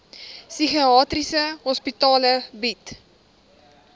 psigiatriese hospitale bied